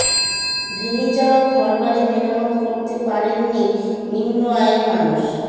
ভেঙে যাওয়া ঘরবাড়ি মেরামত করতে পারেননি নিম্ন আয়ের মানুষ